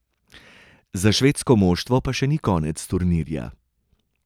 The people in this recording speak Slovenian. Za švedsko moštvo pa še ni konec turnirja.